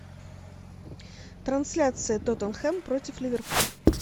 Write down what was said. трансляция тоттенхэм против ливерпуль